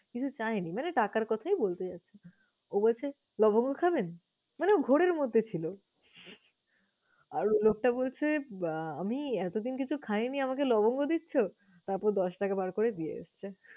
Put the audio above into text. কিছু চায়নি মানে টাকার কথাই বলতে চাচ্ছে। ও বলছে লবঙ্গ খাবেন? মানে ও ঘোরের মধ্যে ছিল। আর ও লোকটা বলছে আহ আমি এতদিন কিছু খাইনি, আমাকে লবঙ্গ দিচ্ছ! তারপর দশ টাকা বার করে দিয়ে এসেছে।